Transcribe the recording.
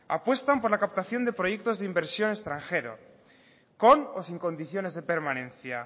apuestan por la captación de proyectos de inversión extranjero con o sin condiciones de permanencia